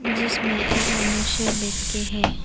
जिसमें एक मनुष्य बैठ के है।